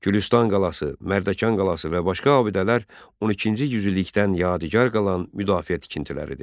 Gülüstan qalası, Mərdəkan qalası və başqa abidələr 12-ci yüzillikdən yadigar qalan müdafiə tikintiləridir.